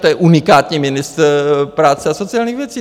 To je unikátní ministr práce a sociálních věcí.